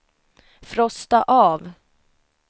frosta av